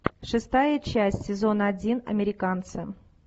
шестая часть сезон один американцы